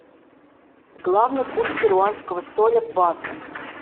главный курс перуанского соля к бату